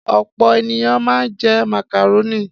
Ọ̀pọ̀ ènìyàn máa ń jẹ màkàrónì.